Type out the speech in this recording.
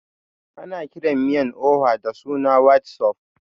Ana kiran miyan oha da sunan white soup